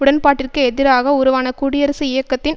உடன்பாட்டிற்கு எதிராக உருவான குடியரசு இயக்கத்தின்